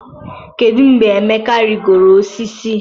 kedu mgbe Emeka rigoro osisi?